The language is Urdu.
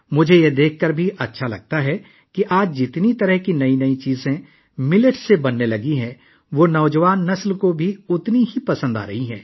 یہ دیکھ کر مجھے خوشی ہوتی ہے کہ آج کل موٹے اناجوں سے مختلف قسم کی نئی چیزیں بننا شروع ہو گئی ہیں جو نوجوان نسل میں یکساں طور پر پسند کی جا رہی ہیں